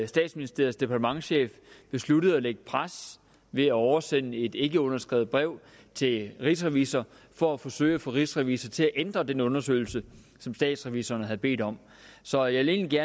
statsministeriets departementschef besluttede at lægge pres ved at oversende et ikkeunderskrevet brev til rigsrevisor for at forsøge at få rigsrevisor til at ændre den undersøgelse som statsrevisorerne havde bedt om så jeg vil egentlig